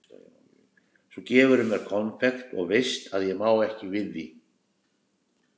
Svo gefurðu mér konfekt og veist að ég má ekki við því.